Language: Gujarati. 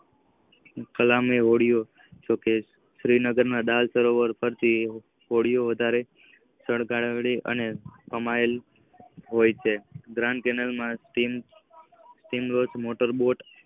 કલમે હોળીઓ અને શ્રીનગર માં રાંસરોવરો હોળીઓ વધારે સળગાવે છે. ગ્રામ્ય કેનાલ સ્કિન બોલ્ડ મોટર બોટ